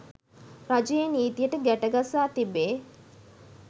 රජයේ නීතියට ගැටගසා තිබේ